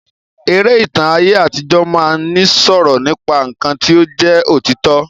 Eré ìtàn aye àtijọ máa ni sọ̀rọ̀ nípa nkán ti o jẹ òtítọ.